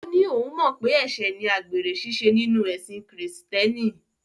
Ó ní òun mọ̀ pé ẹ̀ṣẹ̀ ni àgbèrè ṣíṣe nínú ẹ̀sin Kìrìtẹ̀ẹ́nì.